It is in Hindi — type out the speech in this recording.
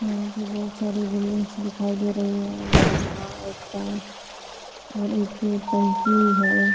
यहाँ पे बहुत सारे विल्लेज दिखाई दे रहे हैं। बड़ा सा एक ताल और एक टंकी है।